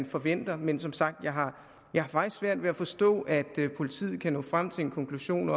forventer men som sagt har jeg faktisk svært ved at forstå at politiet kan nå frem til en konklusion